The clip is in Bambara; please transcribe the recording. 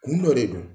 Kun dɔ de don